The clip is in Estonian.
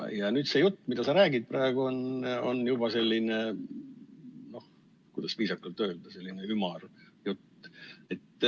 Ja nüüd see jutt, mida sa räägid praegu, on juba selline, kuidas viisakalt öelda, ümar jutt.